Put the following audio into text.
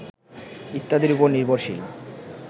ইত্যাদির উপর নির্ভরশীল